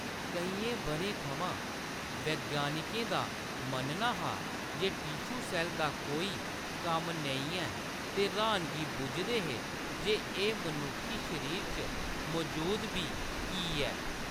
केइयें बʼरें थमां, विज्ञानिकें दा मन्नना ​​​​हा जे टीशू-सैल्ल दा कोई कम्म नेईं ऐ, ते र्‌हानगी बुझदे हे जे एह्‌‌ मनुक्खी शरीरा च मजूद बी कीऽ ऐ।